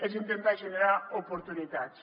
és intentar generar oportunitats